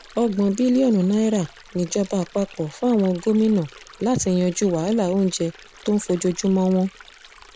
ọgbọ̀n bílíọ̀nù náírà níjọba àpapọ̀ fáwọn gómìnà láti yanjú wàhálà oúnjẹ tó ń fojoojúmọ́ wọn